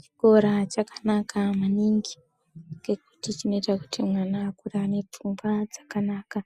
Chikora chakanaka maningi nekuti chinoita kuti mwana akure ane pfungwa dzakanaka,